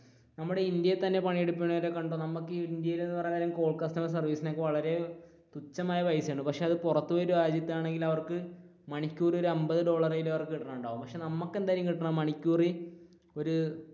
നമ്മുടെ ഇന്ത്യയിൽ തന്നെ പണിയെടുക്കുന്നവർ കണ്ടോ നമുക്ക് ഇന്ത്യയിൽ എന്ന് പറയാൻ നേരം കോൾ കസ്റ്റമർ സർവീസ് ഒക്കെ വളരെ തുച്ഛമായ പൈസയാണ് പക്ഷെ പുറത്തൊരു രാജ്യത്തിലാണെങ്കിൽ അവർക്ക് മണിക്കൂറിൽ ഒരു അമ്പതു ഡോളർ എങ്കിലും അവർക്ക് കിട്ടുന്നുണ്ടാവും പക്ഷെ നമ്മുക്ക്, എന്തായിരിക്കും കിട്ടുക മണിക്കൂറിൽ ഒരു